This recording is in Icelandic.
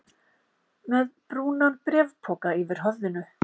Með brúnan bréfpoka yfir höfðinu?